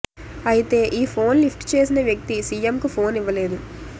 అయితే ఈ phone lift చేసిన వ్యక్తి సీఎంకు ఫోన్ ఇవ్వలేదు